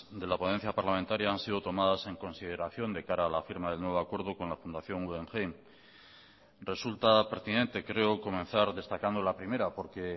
de la ponencia parlamentaria han sido tomadas en consideración de cara a la firma del nuevo acuerdo con la fundación guggenheim resulta pertinente creo comenzar destacando la primera porque